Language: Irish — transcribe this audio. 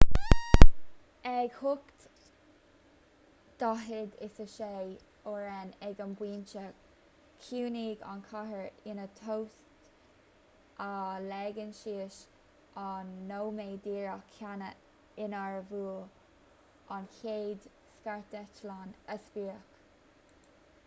ag 8:46 r.n. ag an bpointe chiúnaigh an chathair ina tost á leagan síos an nóiméad díreach céanna inar bhuail an chéad scairdeitleán a sprioc